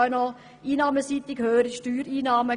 Einnahmenseitig gab es höhere Steuereinnahmen.